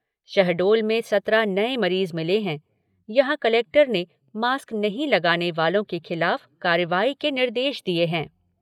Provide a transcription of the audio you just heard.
शहडोल में सत्रह नए मरीज़ मिले हैं, यहाँ कलेक्टर ने मास्क नहीं लगाने वालों के खिलाफ कार्रवाई के निर्देश दिए हैं।